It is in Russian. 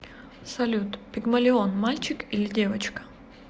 салют пигмалион мальчик или девочка